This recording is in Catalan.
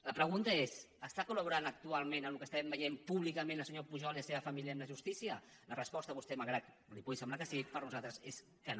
la pregunta és estan col·actualment en el que estem veient públicament el senyor pujol i la seva família amb la justícia la resposta malgrat que a vostè li pugui semblar que sí per nosaltres és que no